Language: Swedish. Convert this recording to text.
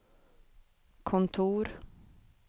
kontor